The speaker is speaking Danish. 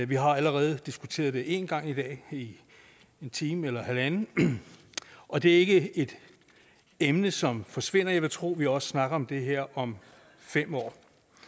vi har allerede diskuteret det en gang i dag i en time eller halvanden og det er ikke et emne som forsvinder så jeg vil tro at vi også snakker om det her om fem år